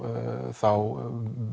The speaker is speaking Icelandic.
þá